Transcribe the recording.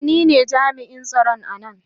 Ee, ni ne jami'in tsaro a nan.